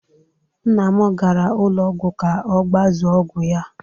Nna m gara ụlọ ọgwụ ka ọ gbazuo ọgwụ ya.